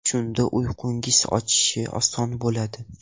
Shunda uyqungizning o‘chshi oson bo‘ladi.